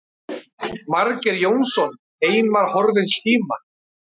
Margeir Jónsson, Heimar horfins tíma.